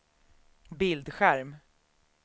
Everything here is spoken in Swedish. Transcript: bildskärm